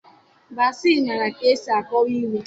Bassey maara ka esi akọwa ilu